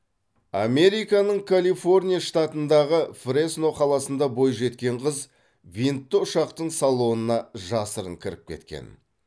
американың калифорния штатындағы фресно қаласында бойжеткен қыз винтті ұшақтың салонына жасырын кіріп кеткен